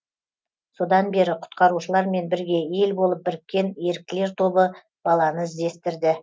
содан бері құтқарушылармен бірге ел болып біріккен еріктілер тобы баланы іздестірді